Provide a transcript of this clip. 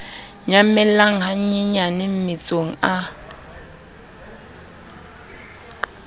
nyamella ha nyenyane mmetsong a